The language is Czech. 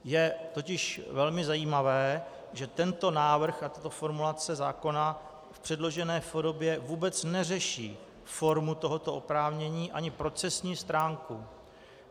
Je totiž velmi zajímavé, že tento návrh a tato formulace zákona v předložené podobě vůbec neřeší formu tohoto oprávnění ani procesní stránku.